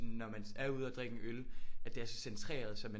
Når man er ude og drikke en øl at det er så centreret så man